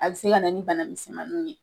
A be se ka na ni bana misinmaninw ye.